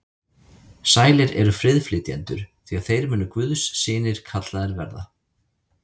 Sælir eru friðflytjendur, því að þeir munu guðs synir kallaðir verða.